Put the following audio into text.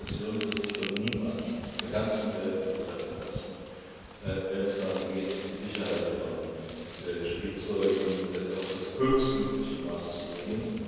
sein. Diese Kommission wird sich von niemandem auf der ganzen Welt übertreffen lassen, wenn es darum geht, die Sicherheit von Spielzeugen auf das höchstmögliche Maß zu bringen.